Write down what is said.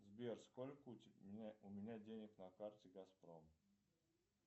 сбер сколько у меня денег на карте газпром